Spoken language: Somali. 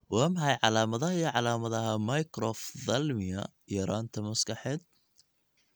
Waa maxay calaamadaha iyo calaamadaha Microphthalmia yaraanta maskaxeed?